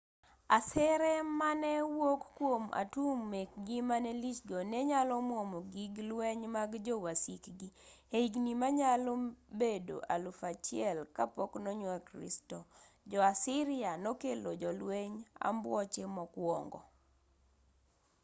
asere mane wuok kwom atum mekgi mane lich go ne nyalo mwomo gig lweny mag jo wasikgi. e higni manyalo bedo 1000 b. c. . jo-assyria nokelo jolwenj ambuoche mokwongo